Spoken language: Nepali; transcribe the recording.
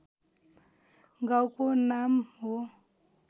गाउँको नाम हो